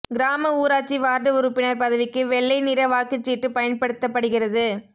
கிராம ஊராட்சி வார்டு உறுப்பினர் பதவிக்கு வெள்ளை நிற வாக்குச் சீட்டு பயன்படுத்தப்படுகிறது